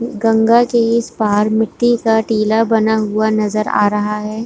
गंगा के इस पार मिट्टी का टीला बना हुआ नजर आ रहा है।